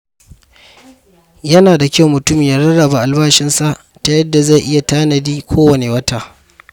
Yana da kyau mutum ya rarraba albashinsa ta yadda zai iya tanadi kowane wata.